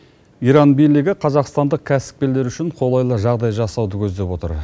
иран билігі қазақстандық кәсіпкерлер үшін қолайлы жағдай жасауды көздеп отыр